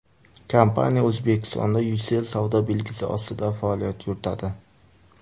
Kompaniya O‘zbekistonda Ucell savdo belgisi ostida faoliyat yuritadi.